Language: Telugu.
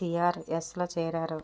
టీఆర్ఎస్లో చేరారు